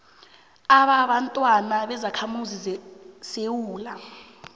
ababantwana bezakhamuzi zesewula